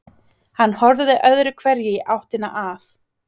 Hann horfði öðru hverju í áttina að